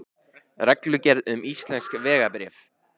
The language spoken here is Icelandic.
Reglugerð um íslensk vegabréf.